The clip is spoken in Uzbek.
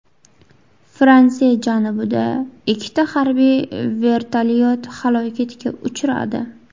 Fransiya janubida ikkita harbiy vertolyot halokatga uchradi.